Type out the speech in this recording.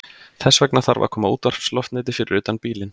Þess vegna þarf að koma útvarpsloftneti fyrir utan bílinn.